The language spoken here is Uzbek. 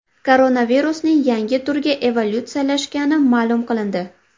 Koronavirusning yangi turga evolyutsiyalashgani ma’lum qilindi.